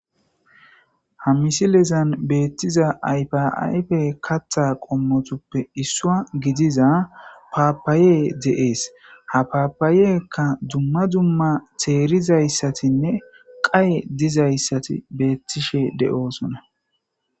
Ha misilezan beththiza ayfaayfee kaththaa kaththa qommotuppe issuwaa gidiza paappayee de7ees;ha paapayenkka dumma dumma theerizayssathinne qaye dizayssathi beeththishe de7oosona.